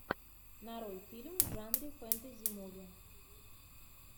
нарой фильм в жанре фэнтези муви